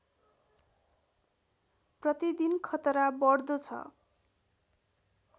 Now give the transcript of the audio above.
प्रतिदिन खतरा बढ्दो छ